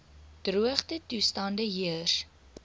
droogte toestande heers